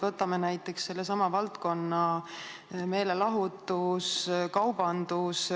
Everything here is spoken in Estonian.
Võtame näiteks sellesama valdkonna: meelelahutus ja kaubandus.